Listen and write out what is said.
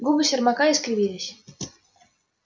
губы сермака искривились